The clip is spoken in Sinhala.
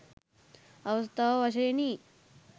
අවස්ථාව වශයෙනි.